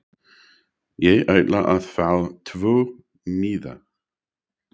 Ég ætla að fá tvo miða.